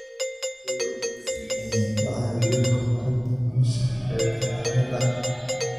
Dalagyo wanaagsan ayaa ka caawiya horumarinta nolosha beeralayda.